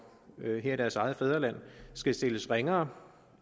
her i deres eget fædreland skal stilles ringere